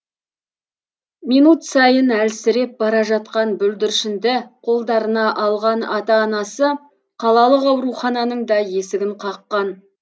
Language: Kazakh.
минут сайын әлсіреп бара жатқан бүлдіршінді қолдарына алған ата анасы қалалық аурухананың да есігін қаққан